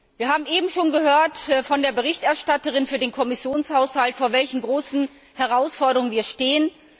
Wir haben soeben schon von der Berichterstatterin für den Kommissionshaushalt gehört, vor welchen großen Herausforderungen wir stehen.